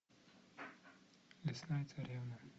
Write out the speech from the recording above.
лесная царевна